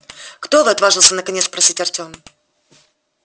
кто вы отважился наконец спросить артем